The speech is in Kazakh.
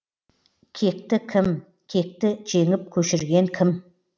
кекті кім кекті жеңіп көшірген кім